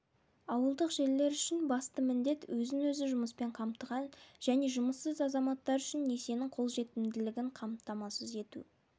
ауылдық жерлер үшін басты міндет өзін-өзі жұмыспен қамтыған және жұмыссыз азаматтар үшін несиенің қолжетімділігін қамтамасыз ету